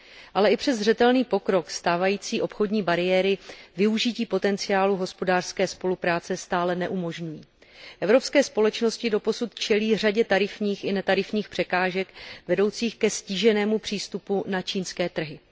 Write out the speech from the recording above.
Ale i přes zřetelný pokrok stávající obchodní bariéry využití potenciálu hospodářské spolupráce stále neumožňují. Evropské společnosti doposud čelí řadě tarifních i netarifních překážek vedoucích ke ztíženému přístupu na čínské trhy.